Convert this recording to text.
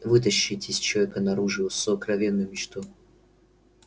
вытащить из человека наружу его сокровенную мечту